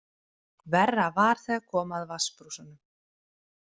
Verra var þegar kom að vatnsbrúsanum.